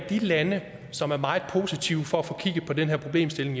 de lande som er meget positive over for at få kigget på den her problemstilling